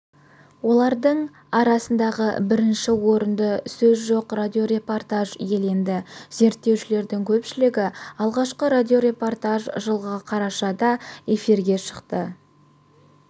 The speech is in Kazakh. олардың арасында бірінші орынды сөз жоқ радиорепортаж иеленді зерттеушілердің көпшілігі алғашқы радиорепортаж жылғы қарашада эфирге шықты